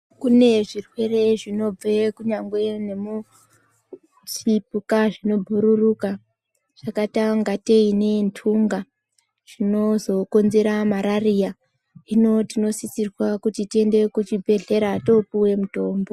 Kune zvirwere zvinobva kunyangwe nemuzvipuka zvinobhururuka zvakaita ingatei nthunga zvinozokonzera marariya . Hino ,tinosisirwa kuti tiende kuchibhedhlera topuwe mutombo.